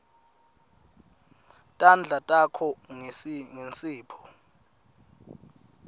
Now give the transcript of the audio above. tandla takho ngensipho